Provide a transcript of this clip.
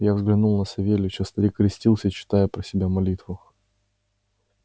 я взглянул на савельича старик крестился читая про себя молитву